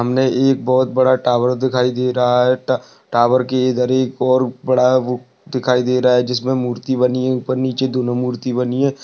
एक बोहोत बड़ा टॉवर दिखाई दे रहा है। ट टॉवर के इधर एक और बड़ा वो दिखाई दे रहा है जिसमें मूर्ति बनी है। ऊपर नीचे दोनों मूर्ति बनी हैं।